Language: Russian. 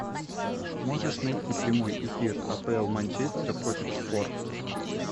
можешь найти прямой эфир апл манчестер против шпор